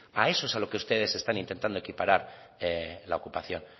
a eso es a lo que ustedes están intentando equiparar la ocupación